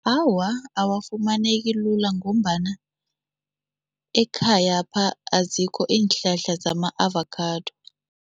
Awa, awafumaneki lula ngombana ekhayapha azikho iinhlahla zama-avakhado.